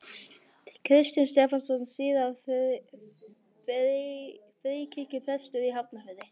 Kristinn Stefánsson, síðar fríkirkjuprestur í Hafnarfirði.